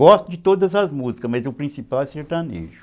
Gosto de todas as músicas, mas o principal é sertanejo.